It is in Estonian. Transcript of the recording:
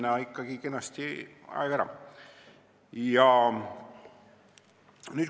Ma vaatasin, et mul võib ikkagi aeg kenasti ära minna.